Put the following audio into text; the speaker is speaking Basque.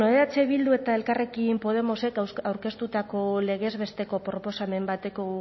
bueno eh bildu eta elkarrekin podemosek aurkeztutako legez besteko proposamen bateko